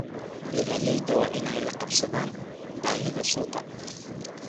Beeralayda waa inay la qabsadaan baahida suuqa.